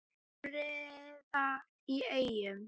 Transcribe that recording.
Kveðja, Fríða í Eyjum